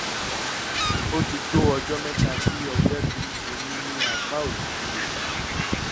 ó ti tó ọjọ́ mẹ́ta tí ọgbẹ́ fi ń ṣe mí ní apá òsì ikùn